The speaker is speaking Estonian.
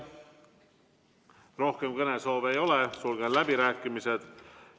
Rohkem kõnesoove ei ole, sulgen läbirääkimised.